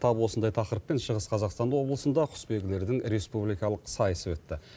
тап осындай тақырыппен шығыс қазақстан облысында құсбегілердің республикалық сайысы өтті